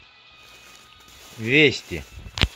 вести